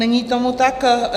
Není tomu tak.